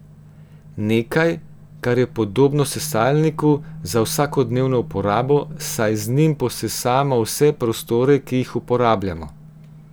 Nekaj, kar je podobno sesalniku za vsakodnevno uporabo, saj z njim posesamo vse prostore, ki jih uporabljamo.